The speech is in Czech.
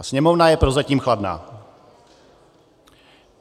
A Sněmovna je prozatím chladná.